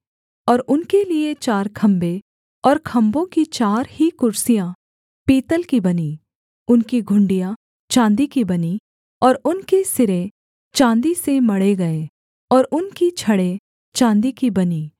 और उनके लिये चार खम्भे और खम्भों की चार ही कुर्सियाँ पीतल की बनीं उनकी घुंडियाँ चाँदी की बनीं और उनके सिरे चाँदी से मढ़े गए और उनकी छड़ें चाँदी की बनीं